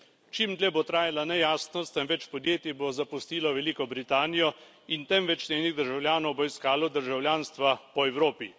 Čim dlje bo trajala nejasnost, tem več podjetij bo zapustilo Veliko Britanijo in tem več njenih državljanov bo iskalo državljanstva po Evropi.